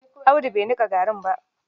Audu bai nika garin ba.